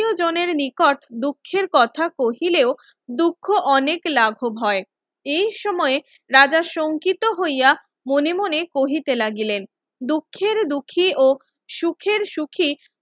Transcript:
আত্মীয় জনের নিকট দুঃখের কথা কহিলেও দুঃখ অনেক লাভব হয় এই সময়ে রাজা সংকিত হইয়া মনে মনে কহিতে লাগিলেন দুঃখের দুঃখী ও সুখের সুখী